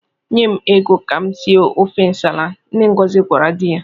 "Nye m ego ka m sie ofe nsala," nne Ngozi gwara di ya.